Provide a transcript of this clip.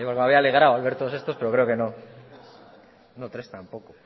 me había alegrado al ver todos estos pero creo que no no tres tampoco